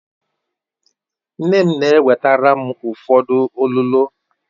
Nne m na-ewetara m ụfọdụ olulo